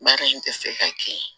Baara in tɛ se ka kɛ